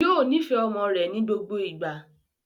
Yóò nifẹ ọmọ rẹ̀ ní gbogbo ìgbà